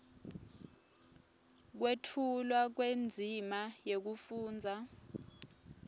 kwetfulwa kwendzima yekufundza